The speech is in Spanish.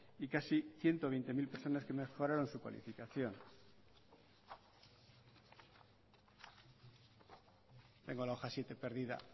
y casi ciento veinte mil personas que mejoraron su cualificación tengo la hoja siete perdida